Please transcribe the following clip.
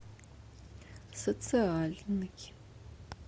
социальный